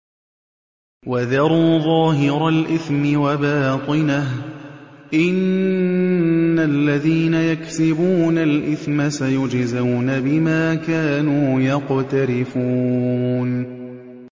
وَذَرُوا ظَاهِرَ الْإِثْمِ وَبَاطِنَهُ ۚ إِنَّ الَّذِينَ يَكْسِبُونَ الْإِثْمَ سَيُجْزَوْنَ بِمَا كَانُوا يَقْتَرِفُونَ